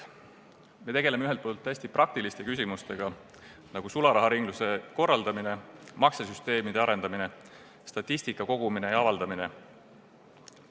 Ühelt poolt tegeleme me hästi praktiliste küsimustega, nagu sularaharingluse korraldamine, maksesüsteemide arendamine ning statistika kogumine ja avaldamine.